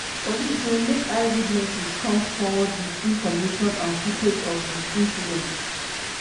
police say make eyewitnesses come forward wit information and footage of di incident.